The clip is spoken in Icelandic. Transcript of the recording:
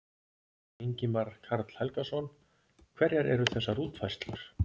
Ingimar Karl Helgason: Hverjar eru þessar útfærslur?